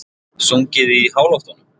Sungið í háloftunum